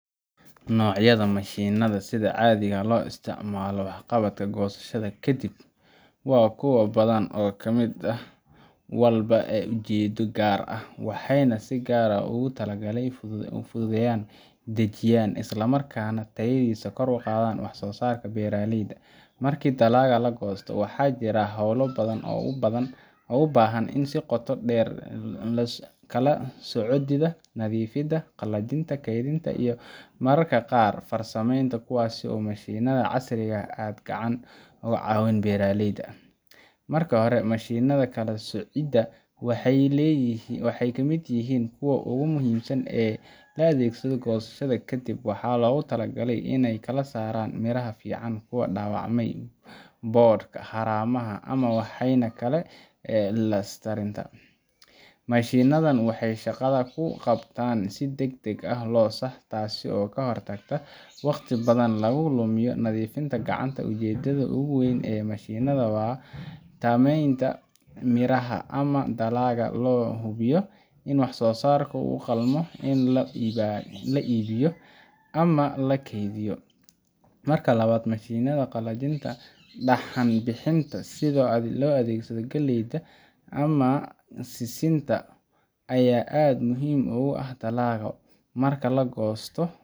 Noocyada mashiinnada sida caadiga ah loo isticmaalo waxqabadka goosashada ka dib waa kuwo badan oo mid walba leh ujeeddo gaar ah, waxaana si gaar ah loogu talagalay iney fududeeyaan, dedejiyaan, isla markaana tayadiisa kor u qaadaan wax-soosaarka beeraleyda. Markii dalagga la goosto, waxaa jira hawlo badan oo u baahan in la qabto sida kala-soocidda, nadiifinta, qalajinta, kaydinta, iyo mararka qaar farsameynta, kuwaas oo mashiinnada casriga ah aad uga caawiyaan beeraleyda. Marka hore, mashiinnada kala-soocidda waxay ka mid yihiin kuwa ugu muhiimsan ee la adeegsado goosashada ka dib. Waxaa loogu talagalay inay kala saaraan miraha fiican iyo kuwa dhaawacmay, boodhka, haramaha ama waxyaabaha kale ee ku larsiinta. Mashiinnadan waxay shaqadaas ku qabtaan si degdeg ah oo sax ah, taas oo ka hortagta in wakhti badan lagu lumiyo nadiifinta gacanta ah. Ujeeddada ugu weyn ee mashiinkan waa tayeynta miraha ama dalagga si loo hubiyo in waxsoosaarka u qalmo in la iibiyo ama la keydiyo. Marka labaad, mashiinnada qalajinta ama dhaxan-bixinta sida kuwa loo adeegsado galleyda, digirta ama sisinta ayaa aad muhiim u ah. Dalagga marka la goosto